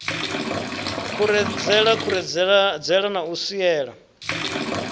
khuredzela khuredzela na u swiela